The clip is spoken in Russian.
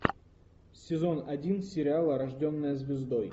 сезон один сериала рожденная звездой